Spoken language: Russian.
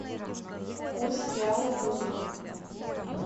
курс реала к рублю